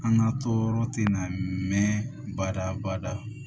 An ka tɔɔrɔ tɛ na mɛn bada bada